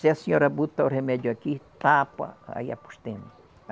Se a senhora botar o remédio aqui, tapa, aí apostemos.